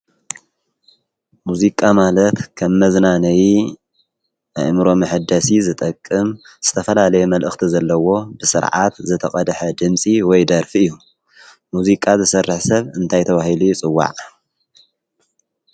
ሙዚቃ ማለት ኸም መዝናነይ ኣእምሮ መሕደሲ ዝጠቅም ዝተፈላለየ መልእኽቲ ዘለዎ ብስርዓት ዝተቐድሐ ድምፂ ወይ ደርፊ እዩ። ሙዚቃ ዝሰርሕ ሰብ እንታይ ተባሂሉ ይጽዋዕ?